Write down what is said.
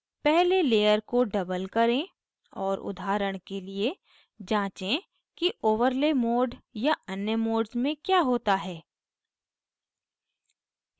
पहले layer को double करें और उदाहरण के लिए जाँचें कि overlay mode या अन्य modes में क्या होता है